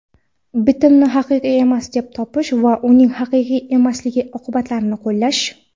bitimni haqiqiy emas deb topish va uning haqiqiy emasligi oqibatlarini qo‘llash;.